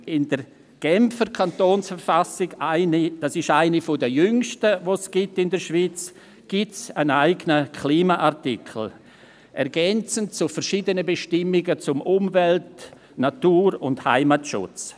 In der Genfer Kantonsverfassung, einer der jüngsten in der Schweiz, gibt es einen eigenen Klimaartikel, ergänzend zu verschiedenen Bestimmungen zum Umwelt-, Natur- und Heimatschutz.